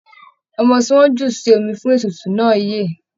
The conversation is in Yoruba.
Ọmọ tí wọ́n jù sí omi fún ètùtù náà yè.